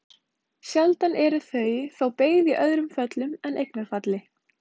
Sjaldan eru þau þó beygð í öðrum föllum en eignarfalli.